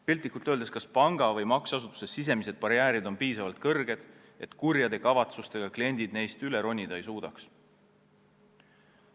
Piltlikult öeldes hindame, kas panga või makseasutuse sisemised barjäärid on piisavalt kõrged, et kurjade kavatsustega kliendid neist üle ronida ei suuda.